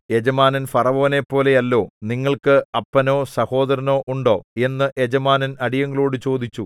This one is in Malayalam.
യജമാനൻ ഫറവോനെപ്പോലെയല്ലോ നിങ്ങൾക്ക് അപ്പനോ സഹോദരനോ ഉണ്ടോ എന്നു യജമാനൻ അടിയങ്ങളോടു ചോദിച്ചു